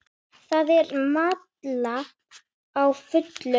Það er malað á fullu.